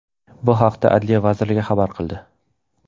Bu haqda Adliya vazirligi xabar qildi .